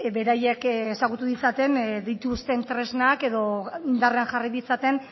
beraiek ezagutu ditzaten dituzten tresnak edo indarrean jarri ditzaten